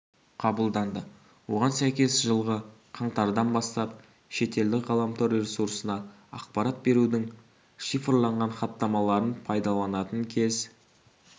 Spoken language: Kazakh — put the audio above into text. қабылданды оған сәйкес жылғы қаңтардан бастап шетелдік ғаламтор ресурсына ақпарат берудің шифрланған хаттамаларын пайдаланатын кез